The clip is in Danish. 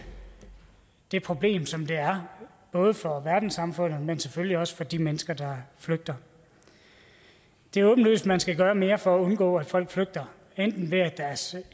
det problem som det er både for verdenssamfundet men selvfølgelig også for de mennesker der flygter det er åbenlyst at man skal gøre mere for at undgå at folk flygter enten ved at deres